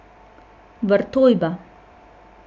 Vrtojba.